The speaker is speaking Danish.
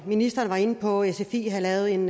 ministeren var inde på at sfi havde lavet en